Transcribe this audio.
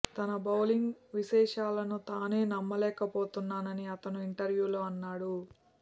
తన బౌలింగ్ విశే్లషణను తానే నమ్మకలేకపోతున్నానని అతను ఒక ఇంటర్వ్యూలో అన్నాడు